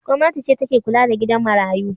Gwamnati ce take kula da gidan marayu.